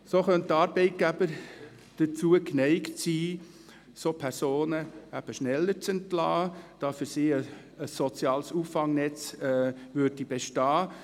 So könnten Arbeitgeber dazu neigen, solche Personen schneller zu entlassen, da für sie ein soziales Auffangnetz bestünde.